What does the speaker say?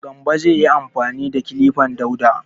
Gambo zai yi amfani da kilifan Dauda.